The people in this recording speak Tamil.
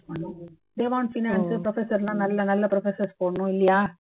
they want finance professor லாம் நல்ல நல்ல professors போடணும் இல்லையா